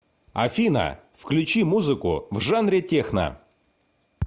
афина включи музыку в жанре техно